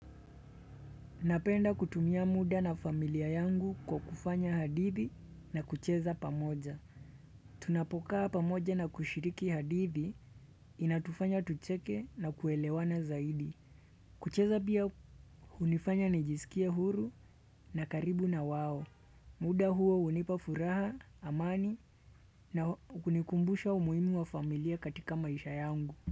Napenda kutumia muda na familia yangu kwa kufanya hadithi na kucheza pamoja. Tunapokaa pamoja na kushiriki hadithi inatufanya tucheke na kuelewana zaidi. Kucheza pia unifanya najisikie huru na karibu na wao. Muda huo unipa furaha, amani na kunikumbusha umuhimu wa familia katika maisha yangu.